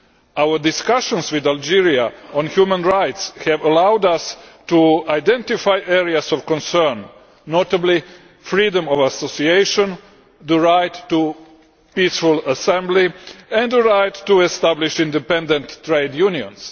Our discussions with Algeria on human rights have allowed us to identify areas of concern, notably freedom of association, the right to peaceful assembly and the right to establish independent trade unions.